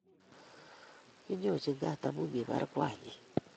Kinyochi kaat amu kibaar Kwan nenyi